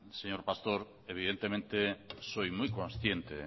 señor pastor evidentemente soy muy consciente